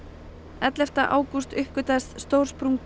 ellefta ágúst uppgötvaðist stór sprunga